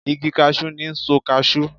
Igi kashi ni' n so kashu